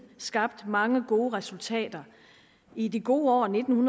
skabt mange gode resultater i det gode år nitten